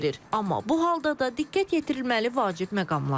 Amma bu halda da diqqət yetirilməli vacib məqamlar var.